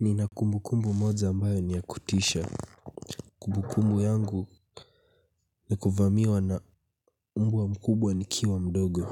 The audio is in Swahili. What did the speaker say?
Nina kumbukumbu moja ambayo ni ya kutisha. Kumbukumbu yangu ni kuvamiwa na umbwa mkubwa nikiwa mdogo.